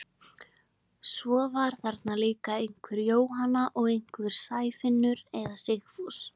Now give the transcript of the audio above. Svo var þarna líka einhver Jóhanna og einhver Sæfinnur eða Sigfús.